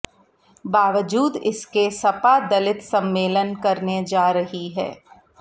बावजूद इसके सपा दलित सम्मेलन करने जा रही है